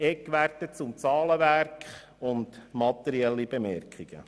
Ich erläutere im Weiteren Eckwerte zum Zahlenwerk und mache danach einige materielle Bemerkungen.